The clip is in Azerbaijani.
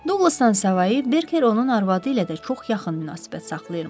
Duqlasdan savayı Berker onun arvadı ilə də çox yaxın münasibət saxlayırmış.